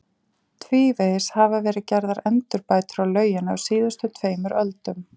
Tvívegis hafa verið gerðar endurbætur á lauginni á síðustu tveimur öldum.